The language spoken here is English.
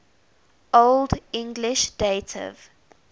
old english dative